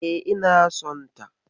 E, ina sonta.